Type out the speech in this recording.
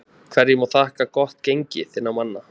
Hverju má þakka gott gengi þinna manna?